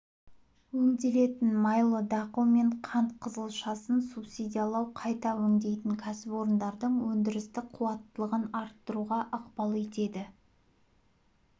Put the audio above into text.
өңделетін майлы дақыл мен қант қызылшасын субсидиялау қайта өңдейтін кәсіпорындардың өндірістік қуаттылығын арттыруға ықпал етеді